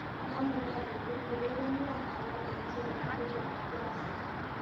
Yamunee google urerenwo ala eng tiewogikab Jazz